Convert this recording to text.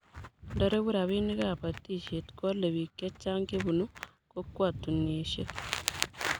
Nda regu rabinik ab batishet ko ale biik chechang chebunu kokwatunishek